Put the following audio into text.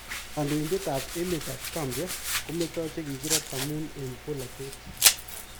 Kandoindet ab emetab Gambia kometoo chekikirat amun en polatet